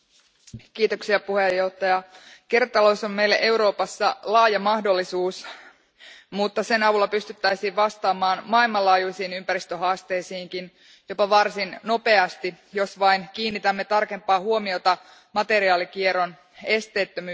Arvoisa puhemies, kiertotalous on meille Euroopassa laaja mahdollisuus, mutta sen avulla pystyttäisiin vastaamaan myös maailmanlaajuisiin ympäristöhaasteisiin jopa varsin nopeasti, jos vain kiinnitämme tarkempaa huomiota materiaalikierron esteettömyyteen.